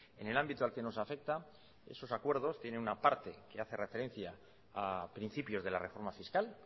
en el ámbito al que nos afecta esos acuerdos tienen una parte que hace referencia a principios de la reforma fiscal